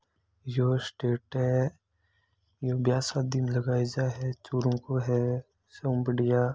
यो stage है यो ब्याह शादी में लगाये जा है यो चूरू को स हु बड़िया --